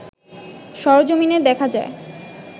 সরজমিনে দেখা যায়